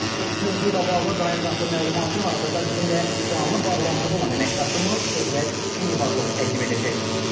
Mövzu ilə bağlı daha ətraflı məlumatı hazırda bizimlə canlı bağlantıda olan əməkdaşımız Şöhrət Eyvazov təqdim edəcək.